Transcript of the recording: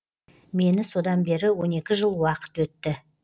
мені содан бері он екі жыл уақыт өтті